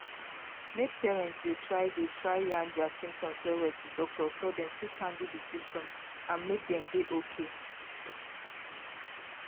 make patients de try de try yarn dia symptoms well well to doctor so dem fit handle di symptoms and make dem dey okay.